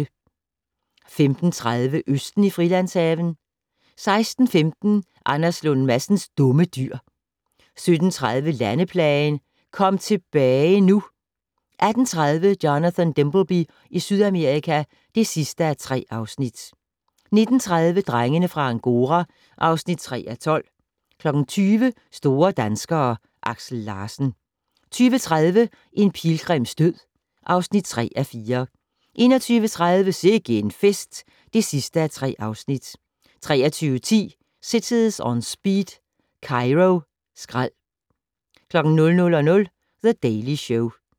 15:30: Østen i Frilandshaven 16:15: Anders Lund Madsens Dumme Dyr 17:30: Landeplagen - "Kom tilbage nu" 18:30: Jonathan Dimbleby i Sydamerika (3:3) 19:30: Drengene fra Angora (3:12) 20:00: Store danskere: Aksel Larsen 20:30: En pilgrims død (3:4) 21:30: Sikke en fest (3:3) 23:10: Cities On Speed - Kairo Skrald 00:00: The Daily Show